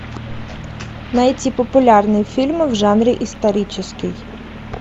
найти популярные фильмы в жанре исторический